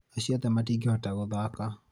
acio othe matingĩhota gũthaka